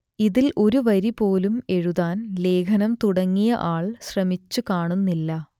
ഇതിൽ ഒരു വരി പോലും എഴുതാൻ ലേഖനം തുടങ്ങിയ ആൾ ശ്രമിച്ചു കാണുന്നില്ല